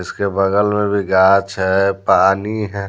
इसके बगल में भी घास है पानी है।